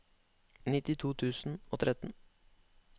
nittito tusen og tretten